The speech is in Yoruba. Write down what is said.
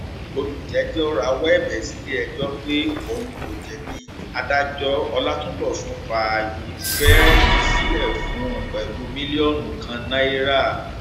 olùjẹjọ rawọ ẹbẹ sílẹẹjọ pé òun kò jẹbi adájọ ọlátúnbọsùn fààyè bẹẹlí sílẹ fún un pẹlú mílíọnù kan náírà